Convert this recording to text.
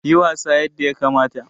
Yi wasa yadda yakamata!